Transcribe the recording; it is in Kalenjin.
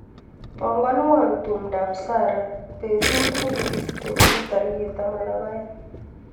Panganwa tumndop Sarah betut nekikisiche koke tarik taman ak aeng.